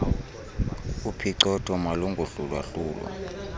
uphicothoo malungohlulwa hlulwa